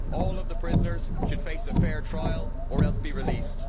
All of the prisoners should face a fair trial or else be released.